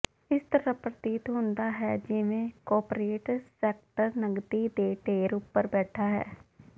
ਇਸ ਤਰ੍ਹਾਂ ਪ੍ਰਤੀਤ ਹੁੰਦਾ ਹੈ ਜਿਵੇਂ ਕੌਪਰੇਟ ਸੈਕਟਰ ਨਕਦੀ ਦੇ ਢੇਰ ਉਪਰ ਬੈਠਾ ਹੈ